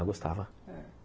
Ah, gostava. É